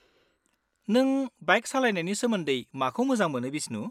-नों बाइक सालायनायनि सोमोन्दै माखौ मोजां मोनो बिस्नु?